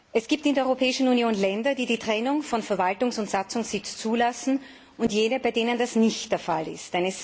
Es gibt in der Europäischen Union Länder, die die Trennung von Verwaltungs und Satzungssitz zulassen, und jene, bei denen das nicht der Fall ist.